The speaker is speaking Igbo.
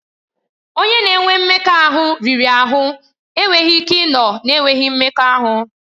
Onye na-enwe mmekọahụ riri ahụ enweghị ike ịnọ na-enweghị mmekọahụ.